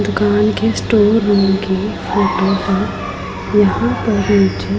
दुकान के store room के टेबल पर यहां पर नीचे--